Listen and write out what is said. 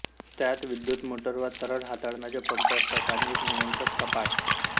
त्यात विद्युत मोटर वा तरल हाताळण्याचे पंप असतात आणि एक नियंत्रक कपाट